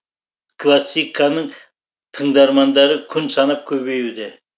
классиканың тыңдармандары күн санап көбеюде